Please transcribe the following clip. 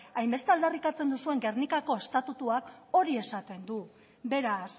hainbeste aldarrikatzen duzuen gernikako estatutuak hori esaten du beraz